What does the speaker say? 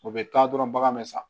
O bɛ taa dɔrɔn bagan bɛ san